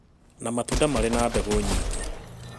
na matunda marĩ na mbegũ nyingĩ